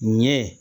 Ɲɛ